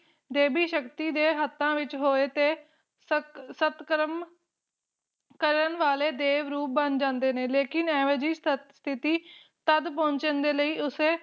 ਦੇਵੀ ਸ਼ਕਤੀ ਦੇ ਹੱਥਾਂ ਵਿਚ ਹੋਵੇ ਤੇ ਸਤ ਸਤਕਰਮ ਕਰਨ ਵਾਲੇ ਦੇਵ ਰੂਪ ਬਣ ਜਾਂਦੇ ਨੇ ਲੇਕਿਨ ਐਵੇ ਜਿਹੀ ਸਤਸਥਿਤੀ ਤਦ ਪੁੱਛਣ ਲਈ ਉਸੇ